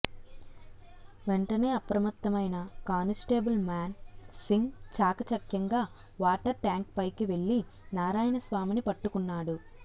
వెంటనే అప్రమత్తమైన కానిస్టేబుల్ మాన్ సింగ్ చాకచక్యంగా వాటర్ ట్యాంక్ పైకి వెళ్లి నారాయణస్వామిని పట్టుకున్నాడు